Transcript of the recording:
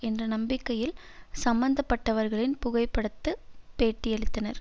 என்ற நம்பிக்கையில் சம்பந்தப்பட்டவர்களின் புகைப்படத்து பேட்டியளித்தனர்